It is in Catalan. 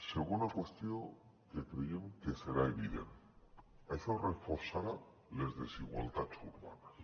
segona qüestió que creiem que serà evident això reforçarà les desigualtats urbanes